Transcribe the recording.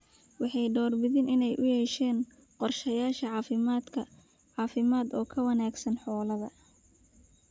Waxay door bidaan in ay u yeeshaan qorshayaal caafimaad oo ka wanaagsan xoolahooda.